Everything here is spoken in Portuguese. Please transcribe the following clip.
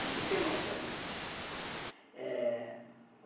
É muito emocionante, eh...